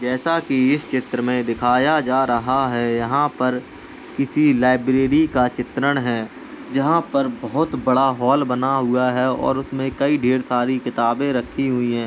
जैसा की इस चित्र में दिखाया जा रहा है यहाँ पर किसी लाइब्रेरी का चित्रण है जहाँ पर बहुत बड़ा हॉल बना हुआ है और उसमे कई ढेर सारी किताबें रखी हुई हैं।